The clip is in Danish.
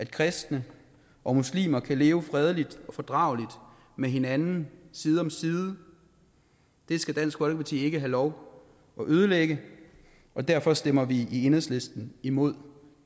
kristne og muslimer kan leve fredeligt og fordrageligt med hinanden side om side det skal dansk folkeparti ikke have lov at ødelægge og derfor stemmer vi i enhedslisten imod